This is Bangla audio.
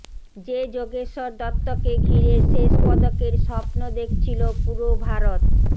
যে যোগেশ্বর দত্তকে ঘিরে শেষ পদকের স্বপ্ন দেখছিল পুরো ভারত